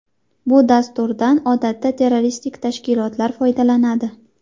Bu dasturdan odatda terroristik tashkilotlar foydalanadi.